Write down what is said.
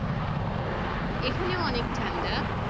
এখনেও অনেক ঠান্ডা।